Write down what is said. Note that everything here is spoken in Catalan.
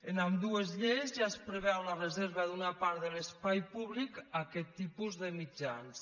en ambdues lleis ja es preveu la reserva d’una part de l’espai públic a aquest tipus de mitjans